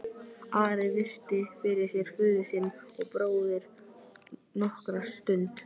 Ari virti fyrir sér föður sinn og bróður nokkra stund.